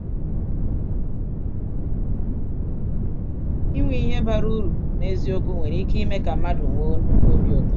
um Inwe ihe bara uru n’eziokwu nwere ike ime ka mmadụ nwee nnukwu obi ụtọ.